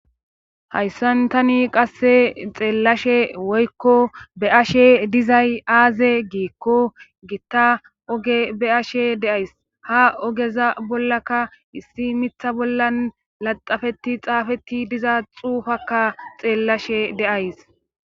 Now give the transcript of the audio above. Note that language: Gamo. Hayssantani qasse xeellashe woykko be ashe dizay aaze giikko gitta oge be ashe deays ha ogeza bollaka issi mitha bollan laxafetti xaafetti diza xuufakka xeellashe deays.